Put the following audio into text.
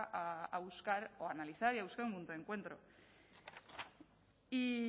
a buscar o a analizar y a buscar un punto de encuentro y